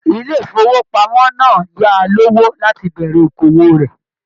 Ilé ifowopamọ náà yáa lówó láti bẹ̀rẹ̀ òkòwò rẹ.